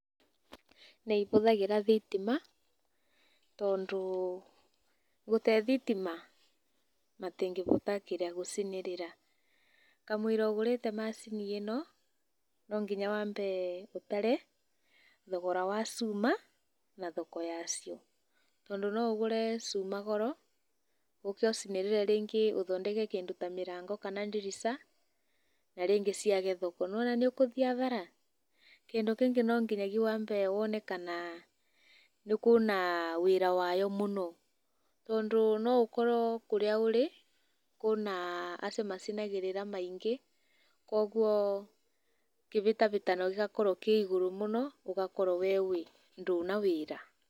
Nĩivũthagĩra thitima, tondũ, gũtee thitima matĩngĩvota kĩrĩa gũcinĩrĩra, kamũiria ũgũrĩte macini ĩno, no nginya wambe ũtare thogora wa cuuma na thoko yacio, tondũ no ũgũre cuuma goro ũũke ũcinĩrĩre rĩngĩ ta mĩrango kana ndirica na rĩngĩ ciage thoko, nĩwona nĩũkũthi hathara, kĩndũ kĩngĩ nonginyagi wambe wone kana nĩkũũna wĩra wayo mũno, tondũ noũkoro kũrĩa ũrĩ kũũna acio macinagĩrĩra maiingĩ, koguo kĩvĩtavĩtano gĩgakorwo kĩ igũrũ mũno, ũgakorwo wee ndũna wĩra.